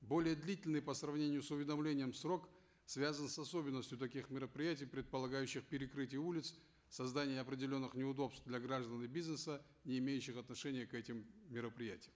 более длительный по сравнению с уведомлением срок связан с особенностью таких мероприятий предполагающих перекрытие улиц создание определенных неудобств для граждан и бизнеса не имеющих отношения к этим мероприятиям